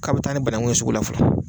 K'a bɛ taa ni banakun ye sugu la fɔlɔ.